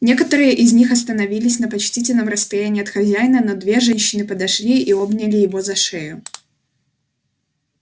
некоторые из них остановились на почтительном расстоянии от хозяина но две женщины подошли и обняли его за шею